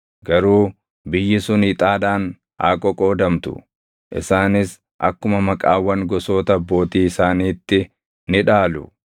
Garuu biyyi sun ixaadhaan haa qoqoodamtu. Isaanis akkuma maqaawwan gosoota abbootii isaaniitti ni dhaalu.